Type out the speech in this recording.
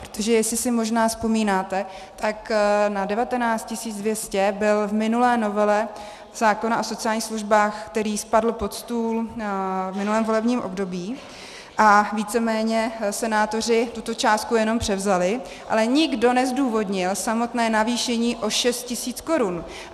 Protože jestli si možná vzpomínáte, tak na 19 200 byl v minulé novele zákona o sociálních službách, který spadl pod stůl v minulém volebním období, a víceméně senátoři tuto částku jenom převzali, ale nikdo nezdůvodnil samotné navýšení o 6 tisíc korun.